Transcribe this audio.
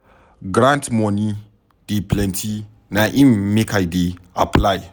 Grant moni dey plenty na im make I dey apply.